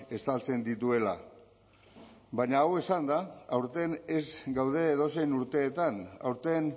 estaltzen dituela baina hau esanda aurten ez gaude edozein urteetan aurten